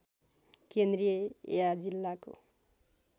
केन्द्रीय या जिल्लाको